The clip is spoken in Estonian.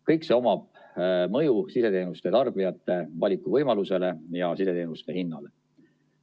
Kõik see omab mõju sideteenuste tarbijate valikuvõimalusele ja sideteenuste hinnale.